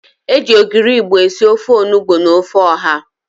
E ji ogiri Igbo esi ofe onugbo na ofe ọ̀há.